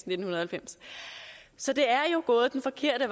nitten halvfems så det er gået den forkerte